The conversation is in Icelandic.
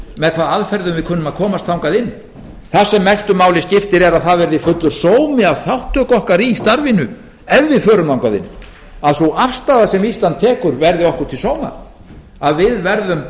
aðferðum við kunnum að komast þangað inn það sem mestu máli skiptir er að það verði fullur sómi að þátttöku okkar í starfinu ef við förum þangað inn að sú afstaða sem ísland tekur verði okkur til sóma að við verðum